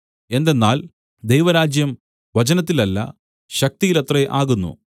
എന്തെന്നാൽ ദൈവരാജ്യം വചനത്തിലല്ല ശക്തിയിലത്രേ ആകുന്നു